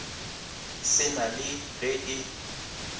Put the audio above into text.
se na le ge e